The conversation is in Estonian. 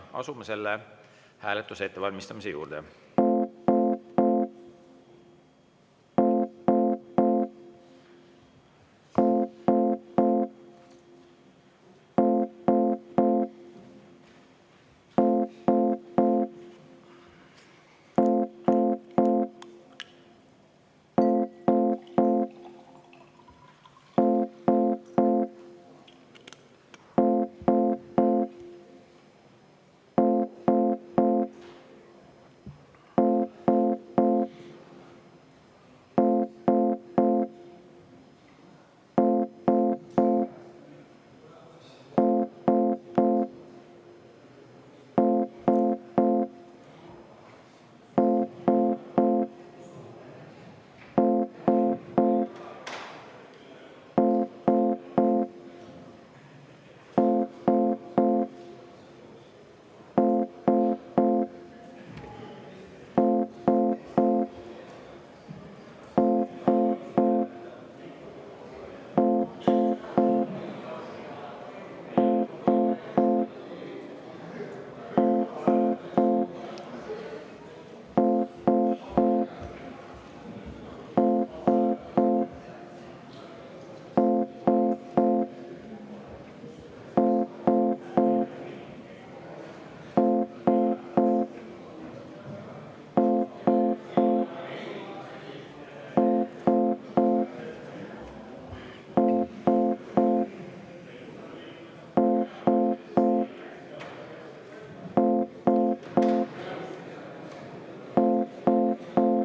Asume selle hääletuse ettevalmistamise juurde.